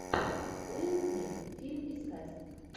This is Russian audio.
уилл смит фильм искать